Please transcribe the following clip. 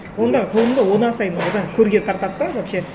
онда ғылымды одан сайын одан көрге тартады да вообще